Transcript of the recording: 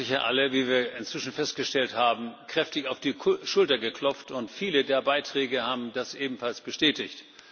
Sie haben sich ja alle, wie wir inzwischen festgestellt haben, kräftig auf die Schulter geklopft, und viele der Beiträge haben das ebenfalls bestätigt.